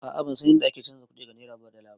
A'a bansan yadda ake chanza kuɗi daga naira zuwa dala ba